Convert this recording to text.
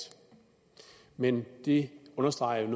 men det understreger